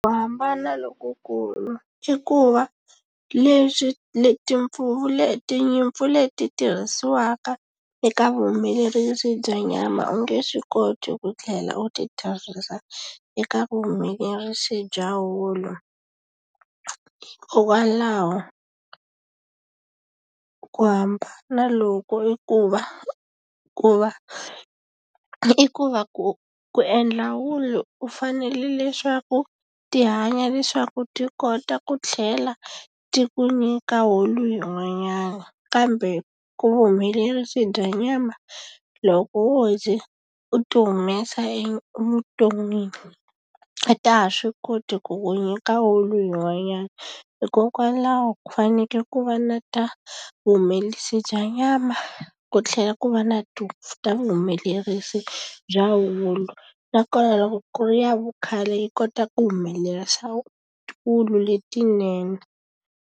Ku hambana lokukulu i ku va leswi ni timpfuvu leti tinyimpfu leti tirhisiwaka eka vuhumelerisi bya nyama u nge swi koti ku tlhela u ti tirhisa eka vuhumelerisi bya wulu hikokwalaho ku hamba loku i ku va ku va i ku va ku ku endla wulu u fanele leswaku ti hanya leswaku ti kota ku tlhela ti ku nyika wulu yin'wanyana kambe vuhumelerisi bya nyama loko wo ze u ti humesa evuton'wini a ta ha swi koti ku nyika wulu yin'wanyana hikokwalaho ku fanekele ku va na ta vuhumelerisi bya nyama ku tlhela ku va na ti ta vuhumelerisi bya wulu nakona loko ku ri ya vukhale yi kota ku humelerisa wulu letinene.